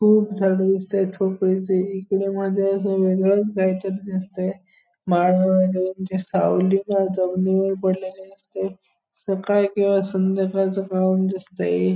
खूप झाडं दिसतायत इकडे मध्ये असं वेगळंच काहीतरी दिसतंय. सावली जमिनीवर पडलेली दिसतंय. सकाळ किंवा संध्याकाळचं ग्राउंड दिसतंय हे --